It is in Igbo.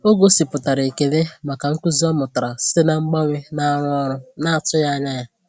Ọ gosipụtara ekele maka nkuzi ọ mụtara site na mgbanwe na-arụ ọrụ na-atụghị anya ya.